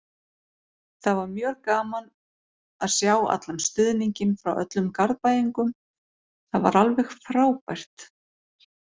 Það var mjög gaman að sjá allan stuðninginn frá öllum Garðbæingum, það var alveg frábært.